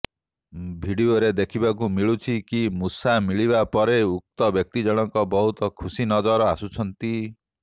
ଭିଡିଓରେ ଦେଖିବାକୁ ମିଳୁଛି କି ମୂଷା ମିଳିବା ପରେ ଉକ୍ତ ବ୍ୟକ୍ତିଜଣକ ବହୁତ ଖୁସି ନଜର ଆସୁଛନ୍ତି